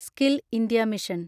skill India mission